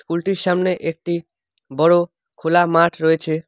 স্কুলটির সামনে একটি বড় খোলা মাঠ রয়েছে।